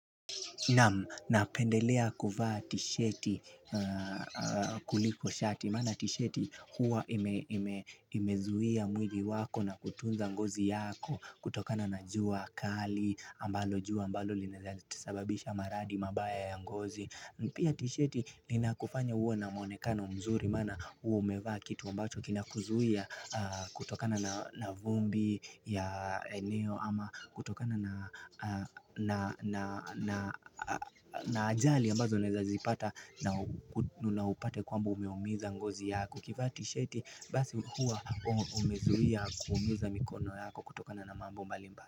Naam, napendelea kuvaa tisheti kuliko shati, mana tisheti huwa imezuia mwili wako na kutunza ngozi yako, kutokana na jua akali, jua ambalo linaezasababisha maradi mabaya ya ngozi. Pia tisheti ninakufanya uwe na mwonekano mzuri mana uwa umevaa kitu ambacho kinakuzuhia kutokana na vumbi ya eneo ama kutokana na ajali ambazo naezazipata na upate kwamba umeumiza ngozi yako ukivaa tisheti basi huwa umezuia kuumiza mikono yako kutokana na mambo mbalimba.